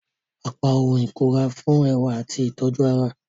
Apá ohùn ikunra nfun ẹwa ati itoju ará.